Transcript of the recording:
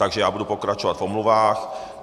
Takže já budu pokračovat v omluvách.